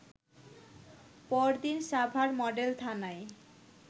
পরদিন সাভার মডেল থানায়